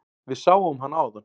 Við sáum hana áðan.